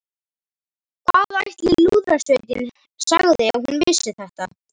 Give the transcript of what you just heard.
Hvað ætli Lúðrasveitin segði ef hún vissi þetta?